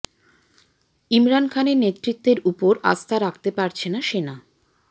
ইমরান খানের নেতৃত্বের উপর আস্থা রাখতে পারছে না সেনা